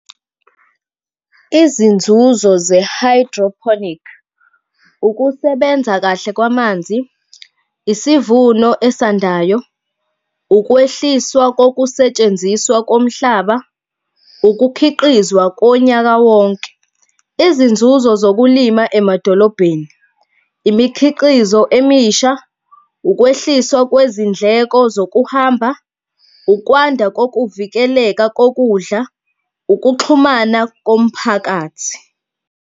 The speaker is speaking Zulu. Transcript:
Izinzuzo ze-hydroponic, ukusebenza kahle kwamanzi, isivuno esandayo, ukwehliswa kokusetshenziswa komhlaba, ukukhiqizwa konyaka wonke. Izinzuzo zokulima emadolobheni, imikhiqizo emisha, ukwehliswa kwezindleko zokuhamba, ukwanda kokuvikeleka kokudla, ukuxhumana komphakathi.